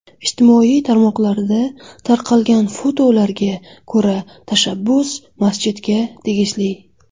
Ijtimoiy tarmoqlarda tarqalgan fotolarga ko‘ra, tashabbus masjidga tegishli.